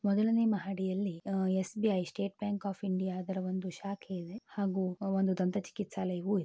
ಮೊದಲನೇ ಮಹಡಿಯಲ್ಲಿ ಅಹ್ SBI state bank of India ಅದರ ಒಂದು ಶಾಖೆ ಇದೆ ಹಾಗೂ ಒಂದು ದಂತ ಚಿಕಿತ್ಸಾಲಯವು --